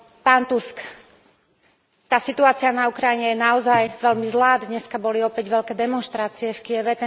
Pán Tusk, tá situácia na Ukrajine je naozaj veľmi zlá, dnes boli opäť veľké demonštrácie v Kyjeve.